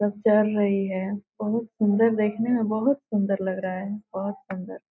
सब चर रही है बहुत सुन्दर देखने में बहुत सुन्दर बहुत सूंदर लग रहा है बहुत सुन्दर।